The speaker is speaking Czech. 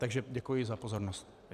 Takže děkuji za pozornost.